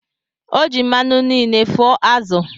O ji mmanụ niile fụọ azụ̀